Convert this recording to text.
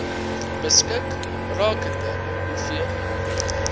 beskik rakende hoeveel